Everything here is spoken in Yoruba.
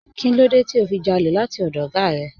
Kínlódé tí o fi jálè láti ọdọ̀ oga rẹ?